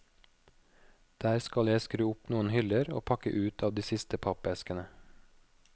Der skal jeg skru opp noen hyller og pakke ut av de siste pappeskene.